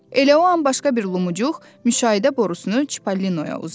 Elə o an başqa bir lumuçuq müşahidə borusunu Çippolinoya uzatdı.